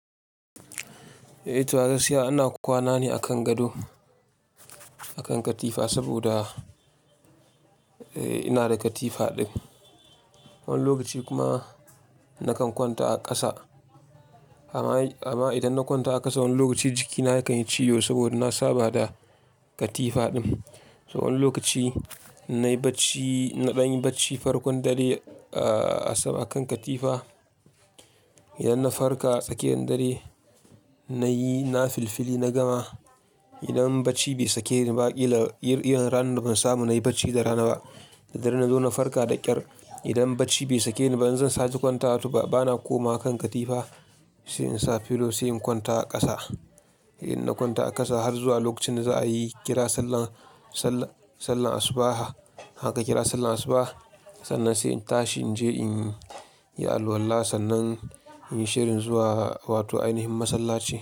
Eh, to a gaskiya ina kwana ne a kan gado, a kan katifa saboda eh ina da katifa ɗin. Wani lokaci kuma nakan kwanta a ƙasa. Amma, amma idan na kwanta a ƙasa wani lokaci jikina yakan yi ciwo saboda na saba da katifa ɗin. So wani lokaci na yi bacci, na ɗan yi bacci farkon dare a sama kan katifa. Idan na farka tsakiyar dare na yi, na filfili na gama. Idan bacci bai sake ni ba, ƙila yi ranar ban samu na yi bacci da rana ba. Da dare na zo na farka da ƙyar. Idan bacci bai sake ni ba, in zan sake kwanta, to ba na komawa kan katifa sai in sa pillow, sai in kwanta a ƙasa. Idan na kwanta a ƙasa har zuwa lokacin za a yi kira sallah, sallar, sallar asuba. Haka kira sallar asuba, sannan sai in tashi in je in yi alwalla sannan in yi shirin zuwa wato ainihin masallaci.